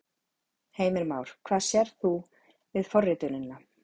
Heimir Már: Hvað sérð þú við forritunina?